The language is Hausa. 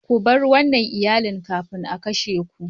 Ku bar wannan Iyalin kafin a kashe ku!